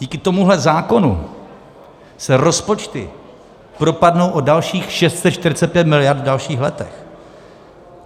Díky tomuhle zákonu se rozpočty propadnou o dalších 645 miliard v dalších letech.